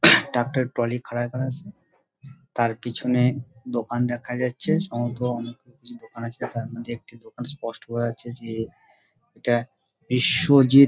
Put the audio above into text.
একটা টলিট্রলি খাড়া করা আছে তার পেছনে দোকান দেখা যাচ্ছে সমর্থ দোকান আছে যেটার মধ্যে একটি দোকান স্পষ্ট বোঝা যাচ্ছে যে এটা বিশ্বজিৎ--